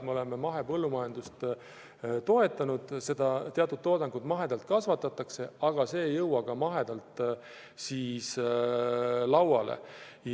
Me oleme mahepõllumajandust toetanud, et teatud saadusi mahedalt kasvatataks, paraku küll see toodang ei jõua alati mahedana lauale.